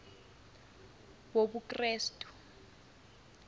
wobukrestu